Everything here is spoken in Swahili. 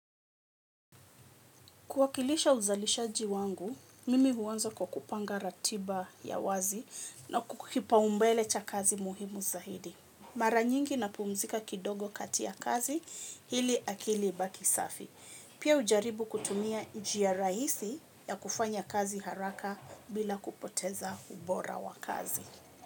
Kuwakilisha uzalishaji wangu, mimi huanza kukupanga ratiba ya wazi na kukipa umbele cha kazi muhimu zaidi. Mara nyingi na pumzika kidogo kati ya kazi ili akili ibaki safi. Pia ujaribu kutumia njia rahisi ya kufanya kazi haraka bila kupoteza ubora wa kazi.